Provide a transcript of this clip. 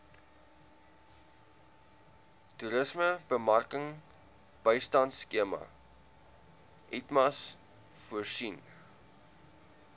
toerismebemarkingbystandskema itmas voorsien